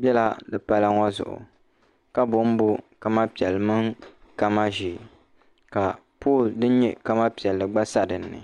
bɛla di pala ŋɔ zuɣ' ka bonbon Kama piɛli mini kama ʒiɛ ka poli din nyɛ Kama piɛli gba sadini